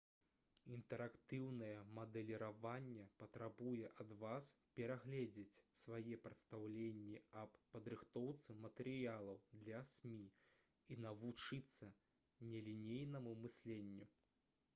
інтэрактыўнае мадэліраванне патрабуе ад вас перагледзець свае прадстаўленні аб падрыхтоўцы матэрыялаў для смі і навучыцца нелінейнаму мысленню